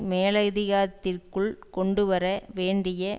மேலாதிக்கத்திற்குள் கொண்டு வர வேண்டிய